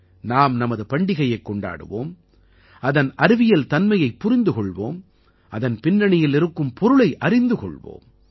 நாம் நமது பண்டிகையைக் கொண்டாடுவோம் அதன் அறிவியல் தன்மையைப் புரிந்து கொள்வோம் அதன் பின்னணியில் இருக்கும் பொருளை அறிந்து கொள்வோம்